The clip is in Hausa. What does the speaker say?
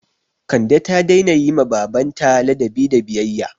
Kande ta daina yi ma baban ta ladabi da biyayya